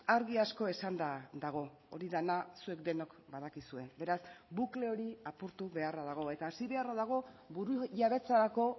argi asko esanda dago hori dena zuek denok badakizue beraz bukle hori apurtu beharra dago eta hasi beharra dago burujabetzarako